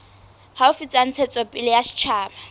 haufi tsa ntshetsopele ya setjhaba